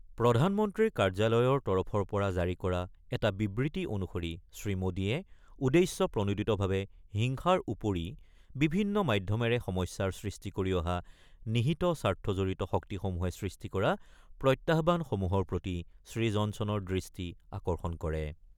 প্ৰধানমন্ত্ৰীৰ কাৰ্যালয়ৰ তৰফৰ পৰা জাৰি কৰা এটা বিবৃতি অনুসৰি শ্ৰীমোদীয়ে উদ্দেশ্য প্ৰণোদিতভাৱে হিংসাৰ উপৰি বিভিন্ন মাধ্যমেৰে সমস্যাৰ সৃষ্টি কৰি অহা নিহিত স্বাৰ্থজড়িত শক্তিসমূহে সৃষ্টি কৰা প্ৰত্যাহ্বানসমূহৰ প্ৰতি শ্ৰীজনছনৰ দৃষ্টি আকৰ্ষণ কৰে।